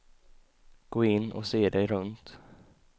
Gå in och se dig runt.